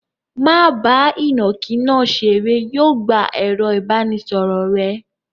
Má bá ìnàkí náà ṣeré. Yóò gbà ẹ̀rọ-ìbánisọ̀rọ̀ rẹ.